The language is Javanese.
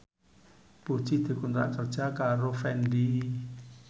Puji dikontrak kerja karo Fendi